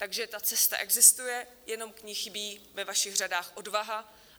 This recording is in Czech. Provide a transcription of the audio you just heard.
Takže ta cesta existuje, jenom k ní chybí ve vašich řadách odvaha.